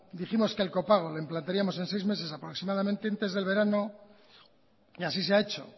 dijimos que el copago lo implantaríamos en seis meses aproximadamente antes del verano y así se ha hecho